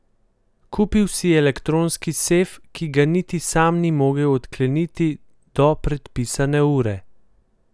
Kupil si je elektronski sef, ki ga niti sam ni mogel odkleniti do predpisane ure.